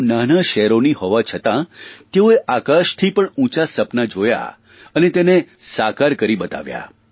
તેઓ નાનાં શહેરોની હોવા છતાં તેઓએ આકાશથી પણ ઉંચાં સપનાં જોયાં અને તેને સાકાર કરી બતાવ્યાં